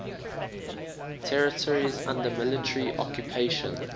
territories under military occupation